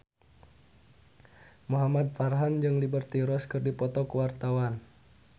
Muhamad Farhan jeung Liberty Ross keur dipoto ku wartawan